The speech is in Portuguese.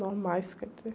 Normais, quer dizer.